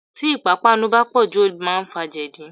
Tí ipapanu bá pọ̀jù, ó máa ń fa jẹdi.